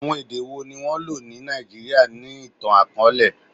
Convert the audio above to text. Awọn ede wo ni wọn lo ni Naijiria ni itan-akọọlẹ?